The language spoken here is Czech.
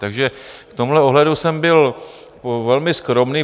Takže v tomhle ohledu jsem byl velmi skromný.